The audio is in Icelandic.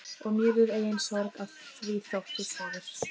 Og mér er engin sorg að því þótt þú sofir.